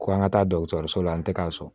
Ko an ka taa so la n tɛ k'a sɔn